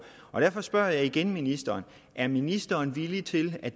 derfor spørger jeg igen ministeren er ministeren villig til at